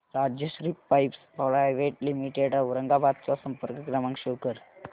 Rajshri pipes private limited Aurangabad चा संपर्क क्रमांक शो कर